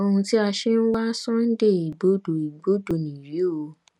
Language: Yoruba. ohun tí a ṣe ń wá sunday igbodò igbodò nìyí o